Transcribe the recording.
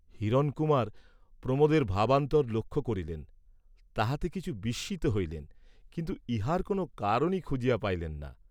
হিরণকুমার প্রমোদের ভাবান্তর লক্ষ্য করিলেন, তাহাতে কিছু বিস্মিত হইলেন, কিন্তু ইহার কোন কারণই খুঁজিয়া পাইলেন না।